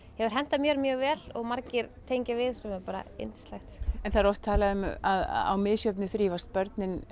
hefur hentað mér mjög vel og margir tengja við sem er bara yndislegt það er oft talað um að á misjöfnu þrífast börnin